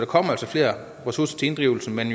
kommer altså flere ressourcer til inddrivelse men